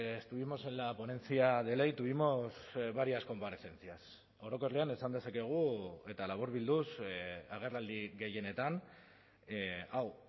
estuvimos en la ponencia de ley tuvimos varias comparecencias orokorrean esan dezakegu eta laburbilduz agerraldi gehienetan hau